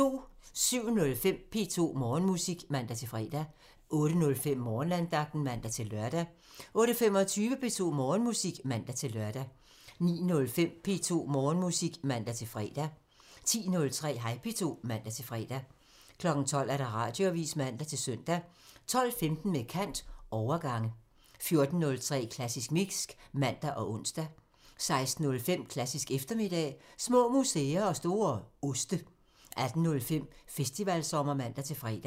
07:05: P2 Morgenmusik (man-fre) 08:05: Morgenandagten (man-lør) 08:25: P2 Morgenmusik (man-lør) 09:05: P2 Morgenmusik (man-fre) 10:03: Hej P2 (man-fre) 12:00: Radioavisen (man-søn) 12:15: Med kant – Overgange 14:03: Klassisk Mix (man og ons) 16:05: Klassisk eftermiddag – Små museer og store oste 18:05: Festivalsommer (man-fre)